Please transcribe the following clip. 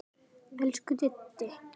Elsku Diddi.